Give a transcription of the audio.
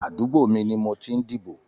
Àdúgbó mi ni mó tí n dibó